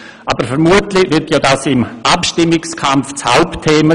Aber vermutlich wird genau das im Abstimmungskampf das Hauptthema sein.